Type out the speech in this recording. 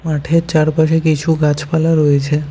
মাঠের চারপাশে কিছু গাছপালা রয়েছে।